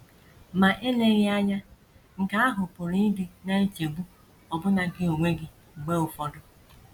Ma eleghị anya, nke ahụ pụrụ ịdị na - echegbu ọbụna gị onwe gị mgbe ụfọdụ.